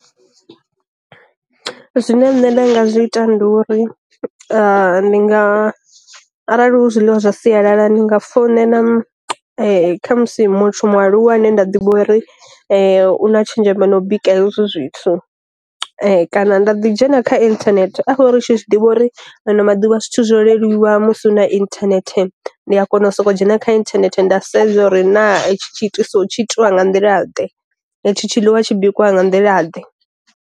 Zwine nṋe nda nga zwi ita nduri ndi nga arali hu zwiḽiwa zwa sialala ndi nga founela na khamusi muthu mualuwa ane nda ḓivha uri u na tshenzhemo na u bika hezwo zwithu, kana nda ḓi dzhena kha inthanethe a fho ri tshi zwiḓivha uri ano maḓuvha zwithu zwo leluwa musi u na inthanethe, ndi a kona u soko dzhena kha inthanethe nda sedza uri na itshi tshi itiso tshi itiwa nga nḓila ḓe i tshi tshi ḽiwa tshi bikiwa nga nḓila ḓe.